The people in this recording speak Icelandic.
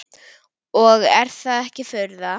Og er það ekki furða.